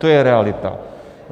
To je realita.